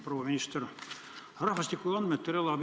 Proua minister!